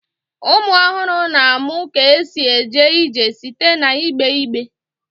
Ụmụ ọhụrụ na-amụ ka esi eje ije site n'igbe igbe